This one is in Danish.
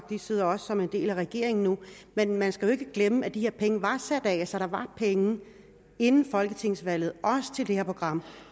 de sidder også som en del af regeringen nu men man skal jo ikke glemme at de her penge var sat af så der var penge inden folketingsvalget også til det her program